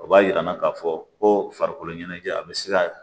O b'a jira n na k'a fɔ ko farikolo ɲɛnajɛ a bɛ se ka